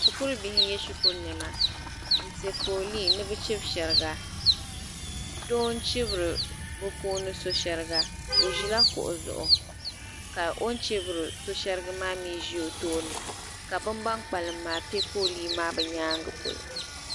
Shikuru bihi nye shikuru nɛma mpɛ foolee ni bi chibi shɛriga doo n chibiri bi puuni so shɛriga o zila kuɣu zuɣu ka o ni chibiri so shɛriga maa mi zi o tooni ka bi bini kpalim maa pɛ foolee maa bi yɛanga polo.